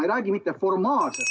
Hea küsija, palun küsimus!